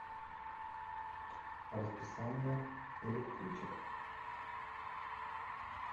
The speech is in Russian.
расписание электричек